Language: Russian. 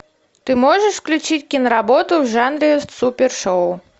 ты можешь включить киноработу в жанре супер шоу